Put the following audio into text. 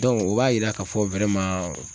o b'a yira k'a fɔ